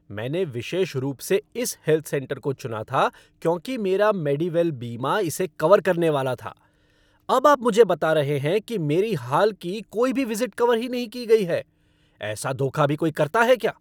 मैंने विशेष रूप से इस हेल्थ सेंटर को चुना था क्योंकि मेरा मेडिवेल बीमा इसे कवर करने वाला था। अब आप मुझे बता रहे हैं कि मेरी हाल की कोई भी विजिट कवर ही नहीं की गई है। ऐसा धोखा भी कोई करता है क्या?